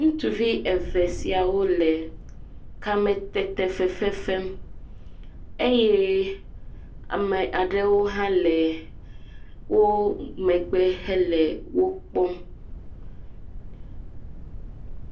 Ŋutsuvi eve siawo le kame fefefem eye ame aɖewo hã le wo megbe hele wokpɔm.